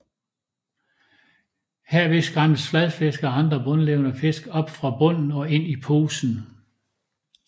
Herved skræmmes fladfisk og andre bundlevende fisk op fra bunden og ind i posen